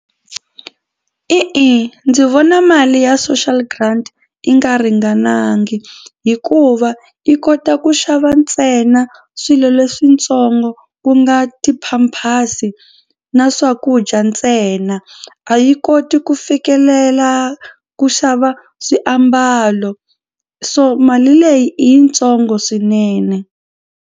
E-e ndzi vona mali ya social grant yi nga ringanangi hikuva yi kota ku xava ntsena swilo leswitsongo ku nga ti-pampers na swakudya ntsena a yi koti ku fikelela ku xava swiambalo so mali leyi i yitsongo swinene.